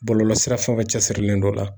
Bɔlɔlɔsira fɛn o fɛn cɛsirilen don la.